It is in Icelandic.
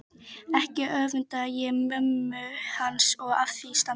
Ekki öfunda ég mömmu hans af því standi